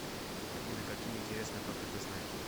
афина какие интересные факты ты знаешь